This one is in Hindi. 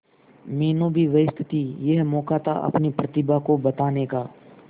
मीनू भी व्यस्त थी यह मौका था अपनी प्रतिभा को बताने का